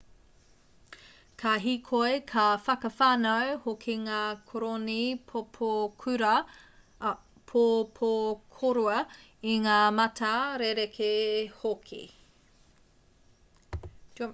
ka hīkoi ka whakawhānau hoki ngā koroni pōpokorua i ngā mata rerekē hoki